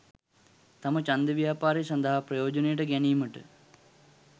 තම ඡන්ද ව්‍යාපාරය සඳහා ප්‍රයෝජනයට ගැනීමට